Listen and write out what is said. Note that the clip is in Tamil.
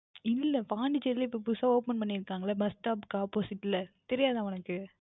இல்லை Pondicherry லயேய் இப்பொழுது புதிதாக Open பண்ணி இருக்கிறார்களே Bus stop க்கு Opposite ல தெரியாத உங்களுக்கு